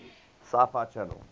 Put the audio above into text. sci fi channel